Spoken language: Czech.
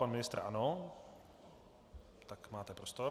Pan ministr ano, tak máte prostor.